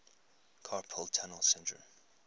carpal tunnel syndrome